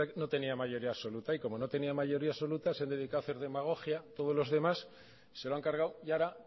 no tenía mayoría absoluta y como no tenía mayoría absoluta se han dedicado a hacer demagogia todos los demás se lo han cargado y ahora